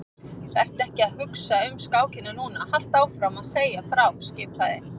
Vertu ekki að hugsa um skákina núna, haltu áfram að segja frá skipaði